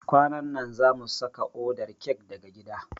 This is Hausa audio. Kwanan na zamu saka odar kek daga gida.